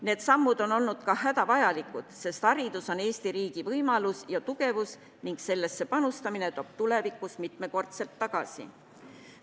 Need sammud on olnud ka hädavajalikud, sest haridus on Eesti riigi võimalus ja tugevus ning sellesse panustamine toob tulevikus mitmekordselt tagasi.